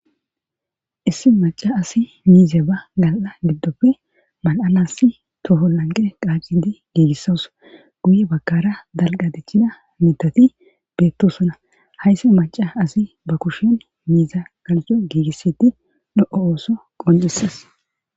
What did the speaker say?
Issi maca asi miize ba gal7a giddope mal7anasi toho lanqe qaacidi giigissas guye bakara dalqa deccida mitati beettosona haysse maca asi ba kushion miiza garco giigissiti de7iyo oso qoncises.